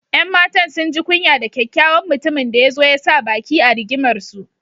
’Yan matan sun ji kunya da kyakyawan mutumin da ya zo ya sa baki a rigimarsu.